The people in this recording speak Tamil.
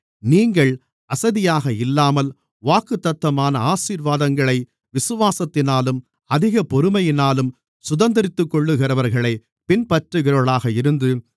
நீங்கள் அசதியாக இல்லாமல் வாக்குத்தத்தமான ஆசீர்வாதங்களை விசுவாசத்தினாலும் அதிக பொறுமையினாலும் சுதந்தரித்துக்கொள்ளுகிறவர்களைப் பின்பற்றுகிறவர்களாக இருந்து